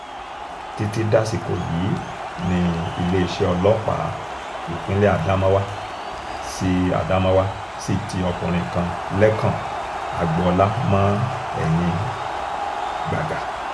títí dasìkò yìí ni iléeṣẹ́ ọlọ́pàá ìpínlẹ̀ adamawa sì adamawa sì ti ọkùnrin kan lẹ́kàn agboola mọ ẹ̀yìn gbàgà